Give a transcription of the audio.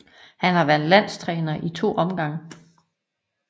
Han har været landstræner i to omgange